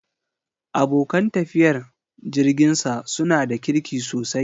Abokan tafiyar jirginsa su na da kirki sosai.